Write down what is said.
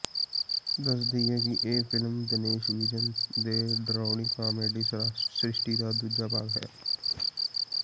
ਦੱਸ ਦੇਈਏ ਕਿ ਇਹ ਫਿਲਮ ਦਿਨੇਸ਼ ਵਿਜਨ ਦੇ ਡਰਾਉਣੀ ਕਾਮੇਡੀ ਸ੍ਰਿਸ਼ਟੀ ਦਾ ਦੂਜਾ ਭਾਗ ਹੈ